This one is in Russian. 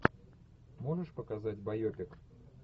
можешь показать байопик